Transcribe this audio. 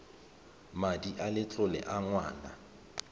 madi a letlole a ngwana